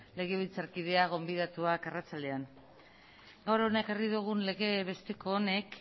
legebiltzarkidea gonbidatuak arratsalde on gaur hona ekarri dugun lege besteko honek